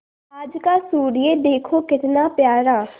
आज का सूर्य देखो कितना प्यारा